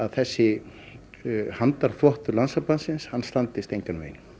þessi Landssambandsins standist engan veginn